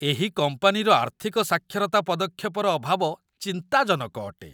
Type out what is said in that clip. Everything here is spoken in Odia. ଏହି କମ୍ପାନୀର ଆର୍ଥିକ ସାକ୍ଷରତା ପଦକ୍ଷେପର ଅଭାବ ଚିନ୍ତାଜନକ ଅଟେ।